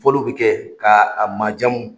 Foliw bɛ kɛ ka a manjamu.